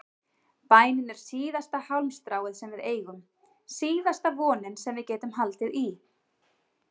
Bænin er síðasta hálmstráið sem við eigum, síðasta vonin sem við getum haldið í.